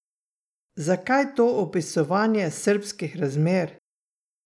Zakaj to opisovanje srbskih razmer?